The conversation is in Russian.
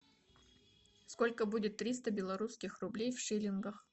сколько будет триста белорусских рублей в шиллингах